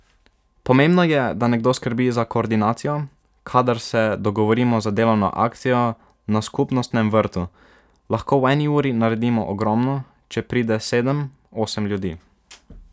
Pomembno je, da nekdo skrbi za koordinacijo: "Kadar se dogovorimo za delovno akcijo na skupnostnem vrtu, lahko v eni uri naredimo ogromno, če pride sedem, osem ljudi.